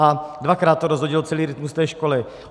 A dvakrát to rozhodilo celý rytmus té školy.